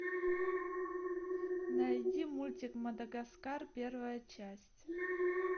найди мультик мадагаскар первая часть